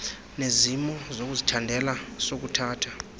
nesimo sokuzithandela sokuthatha